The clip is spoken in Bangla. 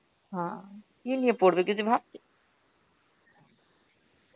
হ্যাঁ, কি নিয়ে পড়বে কিছু ভাবছে?